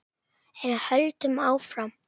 En höldum áfram: